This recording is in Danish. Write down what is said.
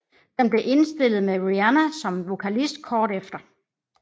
Den blev indspillet med Rihanna som vokalist kort efter